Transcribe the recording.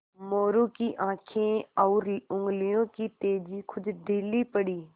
मोरू की आँखें और उंगलियों की तेज़ी कुछ ढीली पड़ी